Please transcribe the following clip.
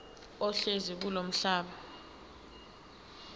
ohlezi kulowo mhlaba